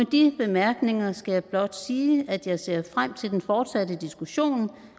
de bemærkninger skal jeg blot sige at jeg ser frem til den fortsatte diskussion